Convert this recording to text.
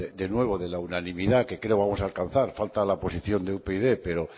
de nuevo de la uninamidad que creo vamos a alcanzar falta la posición de upyd pero